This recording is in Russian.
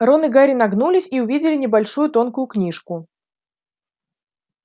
рон и гарри нагнулись и увидели небольшую тонкую книжку